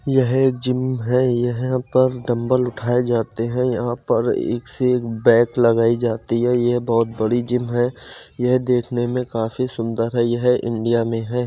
यह एक जिम है यहाँ पर डंबल उठाए जाते है यहाँ पर एक से एक बैक लगाई जाती है यह बहुत बड़ी जिम है यह देखने मे काफी सुंदर है यह इंडिया में है।